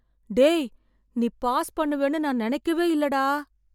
டேய் நீ பாஸ் பண்ணுவேன்னு நான் நினைக்கவே இல்ல டா